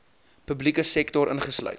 publieke sektor ingesluit